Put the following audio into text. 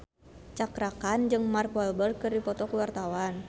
Cakra Khan jeung Mark Walberg keur dipoto ku wartawan